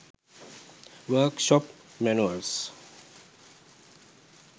work shop manuals